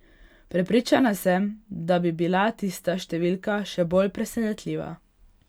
Prepričana sem, da bi bila tista številka še bolj presenetljiva.